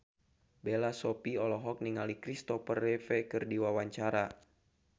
Bella Shofie olohok ningali Kristopher Reeve keur diwawancara